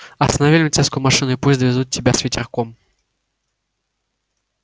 останови милицейскую машину и пусть довезут тебя с ветерком